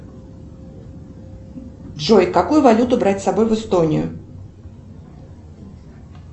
джой какую валюту брать с собой в эстонию